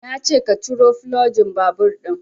Nace ka ciro fulogin babur ɗinnan